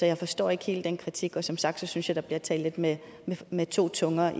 jeg forstår ikke helt den kritik og som sagt synes jeg der bliver talt lidt med med to tunger